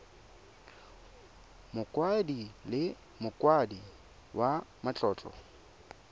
mokaedi le mokaedi wa matlotlo